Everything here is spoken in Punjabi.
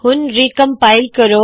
ਹੁਣ ਰੀਕਮਪਾਇਲ ਕਰੋ